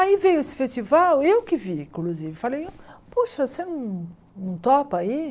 Aí veio esse festival, eu que vi, inclusive, falei, puxa, você não não topa ir?